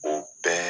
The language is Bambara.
O bɛɛ